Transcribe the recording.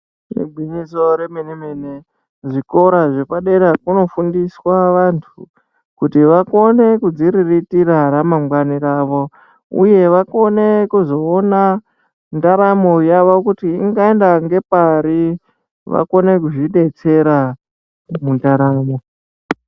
Igwinyiso remene remene zvikora zvepadera kunofundiswa vantu kuti vakone kudziriritira ramangwani ravo uye vakone kuzoona ndaramo yavo kuti ingaenda ngepari vakone kuzvidetsera mundaramo.